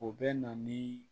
O bɛ na ni